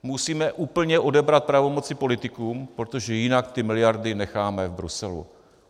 Musíme úplně odebrat pravomoci politikům, protože jinak ty miliardy necháme v Bruselu.